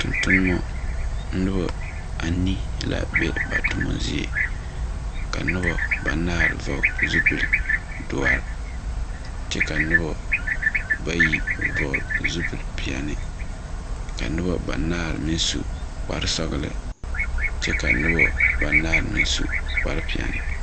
Tontonemɔ noba aanii la be ba toma zie ka noba banaare vɔgle zupildoɔre kyɛ ka noba bayi vɔgle zupilpeɛne ka noba banaare meŋ su kparsɔgne kyɛ ka noba banaare meŋ su kparpeɛne.